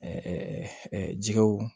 jɛgɛw